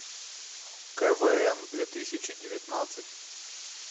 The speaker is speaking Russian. квн две тысячи девятнадцать